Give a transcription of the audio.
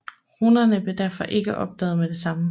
Runerne blev derfor ikke opdaget med det samme